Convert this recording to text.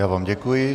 Já vám děkuji.